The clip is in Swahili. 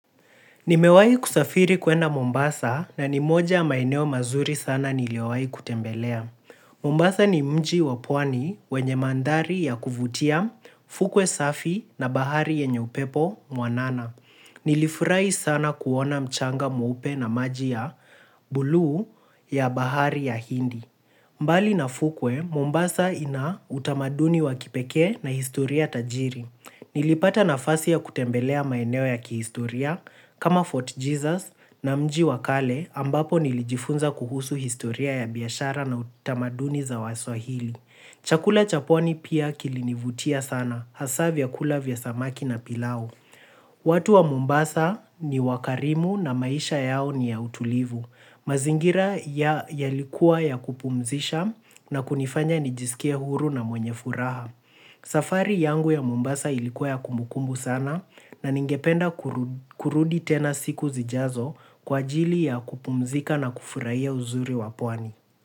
Nimewahi kusafiri kwenda Mombasa na ni moja maeneo mazuri sana nimewahi kutembelea. Mombasa ni mji wa pwani wenye mandari ya kuvutia, fukwe safi na bahari yenye upepo mwanana. Nilifurahi sana kuona mchanga mweupe na maji ya bluu ya bahari ya hindi. Mbali na fukwe Mombasa kuna tamaduni za kipekee na historia tajiri. Nilipata nafasi ya kutembelea maeneo ya kihistoria kama Fort Jesus na mji wa kale ambapo nilijifunza kuhusu historia ya biashara na utamaduni za waswahili. Chakula cha pwani pia kilinivutia sana hasa vyakula vya samaki na pilau. Watu wa Mombasa ni wakarimu na maisha yao ni ya utulivu. Mazingira yalikuwa ya kupumzisha na kunifanya nijisikie huru na mwenye furaha. Safari yangu ya Mombasa ilikuwa ya kumukumbu sana na ningependa kurudi tena siku zijazo kwa ajili ya kupumzika na kufurahia uzuri wa pwani.